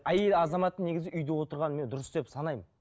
әйел азаматының негізі үйде отырғанын мен дұрыс деп санаймын